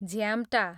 झ्याम्टा